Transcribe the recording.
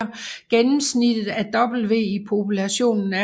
Gennemsnittet af W i populationen er